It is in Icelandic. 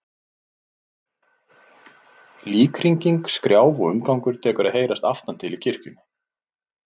Líkhringing, skrjáf og umgangur tekur að heyrast aftan til í kirkjunni.